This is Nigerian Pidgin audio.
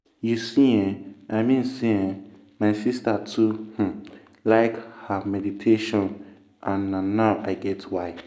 you see eh i mean say eeh my sister too um like ah um meditation and na now i get why.